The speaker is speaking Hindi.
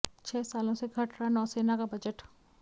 छह सालों से घट रहा नौसेना का बजट